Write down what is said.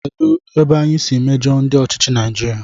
Kedụ ebe anyị siri mejọọ ndị ọchịchị Naijiria?